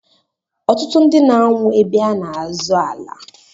Ọtụtụ ndị na anwụ ébé a n'azọ ala.